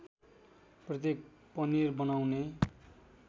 प्रत्येक पनिर बनाउने